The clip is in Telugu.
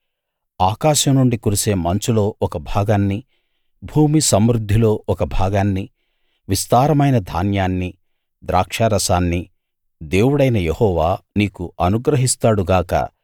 ఆకాశం నుండి కురిసే మంచులో ఒక భాగాన్నీ భూమి సమృద్దిలో ఒక భాగాన్నీ విస్తారమైన ధాన్యాన్నీ ద్రాక్షారసాన్నీ దేవుడైన యెహోవా నీకు అనుగ్రహిస్తాడు గాక